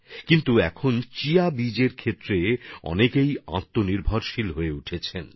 কিন্তু এখন দেশে অনেকে চিয়া সিডস চাষের মাধ্যমে আত্মনির্ভরতা অর্জনের সংকল্পও নিয়ে ফেলেছেন